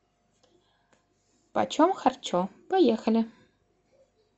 почем харчо поехали